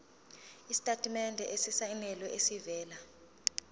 isitatimende esisayinelwe esivela